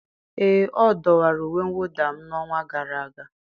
ee, ọ dọwara uwe mwụda m n'ọnwa gara aga